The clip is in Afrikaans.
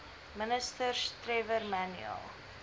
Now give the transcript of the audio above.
ministers trevor manuel